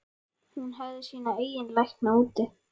Hún hefði sína eigin lækna úti.